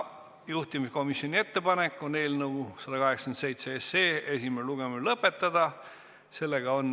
Juhtivkomisjoni ettepanek on eelnõu 187 esimene lugemine lõpetada.